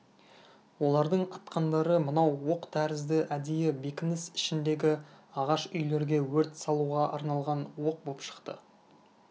олардың атқандары мынау оқ тәрізді әдейі бекініс ішіндегі ағаш үйлерге өрт салуға арналған оқ боп шықты